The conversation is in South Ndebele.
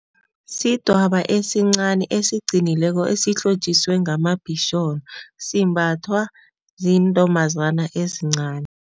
Sidwaba esincani esiqinileko esihlotjiswe ngama bhisholo simbathwa zintombazana ezincani.